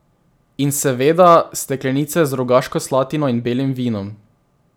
In seveda steklenice z rogaško slatino in belim vinom.